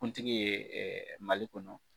Kuntigi ye Mali kɔnɔ